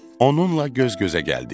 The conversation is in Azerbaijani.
Onunla göz-gözə gəldik.